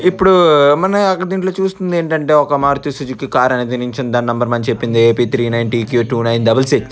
ఇప్పుడు మన దీంట్లో చూస్తుంది ఏంటంటే ఒక మారుతి సుజుకి కార్ అనేది నించుందిదాని నెంబర్ మనం చెప్పింది A _P _three _nine _T _Q _two _nine _double six .